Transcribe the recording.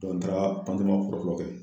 n taara ma fɔlɔfɔfɔ kɛ.